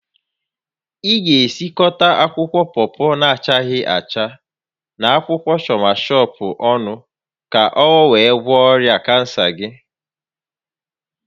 Ị ga-esikọta akwụkwọ pọpọ na-achaghị acha, na akwụkwọ shọawashọp ọnụ ka o wee gwọọ ọrịa kansa gị